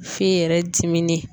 F'i yɛrɛ dimini